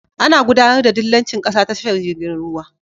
Ana gudAnar da dillanci ƙasa ta tashar jirgin ruwa